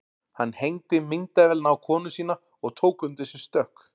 Hann hengdi myndavélina á konu sína og tók undir sig stökk.